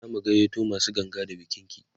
zaku gayyato masu ganga da bikin ki?